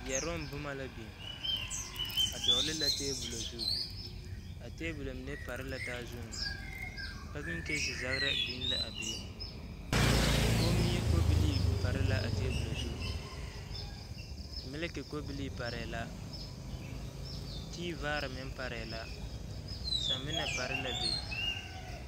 Yɛroŋ boma la biŋ a dɔɔle la tabolɔ zu a tabolɔ mine pare la taa zuŋ pakiŋnesi zagra biŋ la a be komie kobilii pare la a tabolɔ zu miliki kobilii parɛɛ la tiivaare meŋ parɛɛ la samina pare la be.